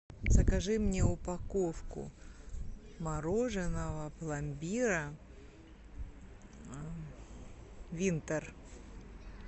закажи мне упаковку мороженого пломбира винтер